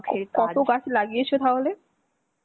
কতো গাছ লাগিয়েছো তাহলে?